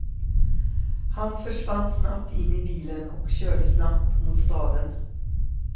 Han försvann snabbt in i bilen och körde snabbt mot staden.